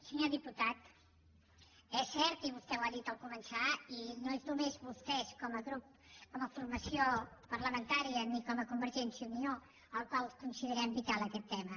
senyor diputat és cert i vostè ho ha dit al començar i no són només vostès com a grup com a formació parlamentària ni convergència i unió els que considerem vital aquest tema